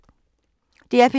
DR P3